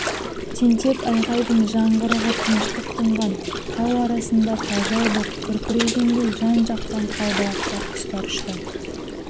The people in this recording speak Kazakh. тентек айғайдың жаңғырығы тыныштық тұнған тау арасында тажал боп күркірегендей жан-жақтан қалбалақтап құстар ұшты